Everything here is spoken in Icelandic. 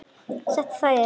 Ég sé það á yður.